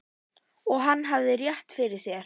Og hann hafði rétt fyrir sér.